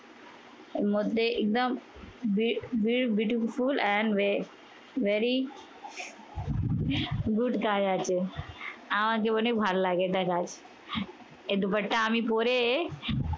এর মধ্যে একদম b b beautiful and ve very good girl আছে। আমার অনেক ভালো লাগে দেখা আছে। এ দোপাট্টা আমি পরে